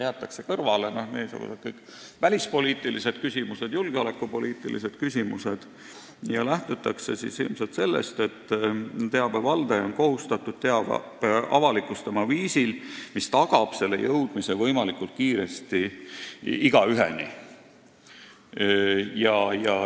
Jäetakse kõrvale kõik välispoliitilised küsimused, julgeolekupoliitilised küsimused ja lähtutakse ilmselt sellest, et teabe valdaja on kohustatud teabe avalikustama viisil, mis tagab selle jõudmise võimalikult kiiresti igaüheni.